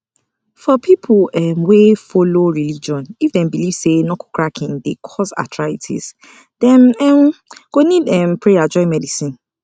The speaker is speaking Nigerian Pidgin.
some believers dey talk say stress na the only cause of ulcer so dem dey mix prayer with medicine